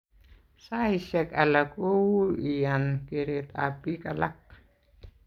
Saisyek alak ko ui iyan keret ap pik alak